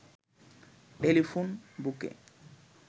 telephone বুকে